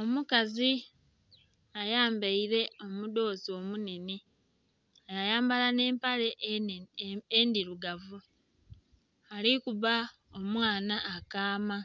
Omukazi ayambaire omudhozi omunene ya yambala nhe empale endhirugavu alikuba omwaana akaama